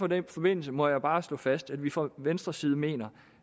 den forbindelse må jeg bare slå fast at vi fra venstres side mener